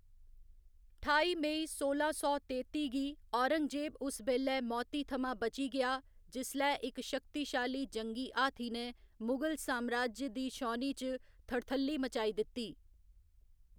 ठाई मई सोला सौ तेत्ती गी, औरंगजेब उस बेल्लै मौती थमां बची गेआ जिसलै इक शक्तिशाली जंगी हाथी ने मुगल साम्राज्य दी छौनी च थड़थल्ली मचाई दित्ती।